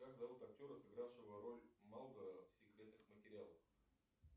как зовут актера сыгравшего роль малдера в секретных материалах